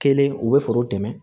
Kelen u bɛ foro dɛmɛ